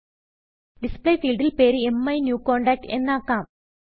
Displayഫീൽഡിൽ പേര് മൈന്യൂകോണ്ടാക്ട് എന്നാക്കം